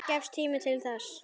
Gefst tími til þess?